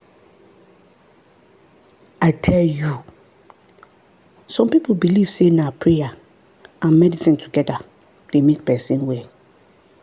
i tell you! some people believe say na prayer and medicine together dey make person well.